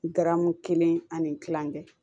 Garamu kelen ani kilancɛ